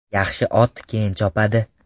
Yaxshi ot keyin chopadi.